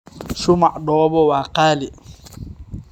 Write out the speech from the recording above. Shumac dhoobo waa qaali.